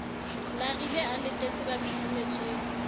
larile a latetse ba phirimetsweng